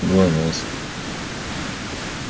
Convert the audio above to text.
гланас